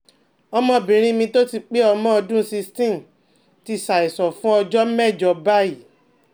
ọmọbìnrin mi tó ti pé ọmọ ọdún sixteen ti ṣàìsàn fún ọjọ́ mẹ́jọ báyìí